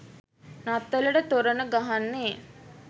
නත්තලට තොරණ ගහන්නෙ?